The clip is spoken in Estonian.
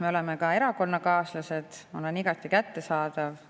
Me oleme ka erakonnakaaslased, olen igati kättesaadav.